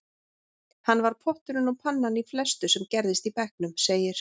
Hann var potturinn og pannan í flestu sem gerðist í bekknum, segir